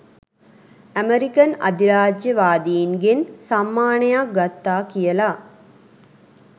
American අධිරාජ්‍යවාදීන්ගෙන් සම්මානයක් ගත්තා කියලා